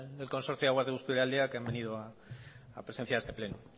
del consorcio de aguas de busturialdea que han venido a presenciar este pleno